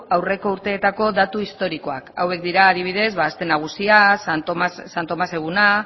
aurreko urteetako datu historikoak hauek dira adibidez aste nagusia santo tomas eguna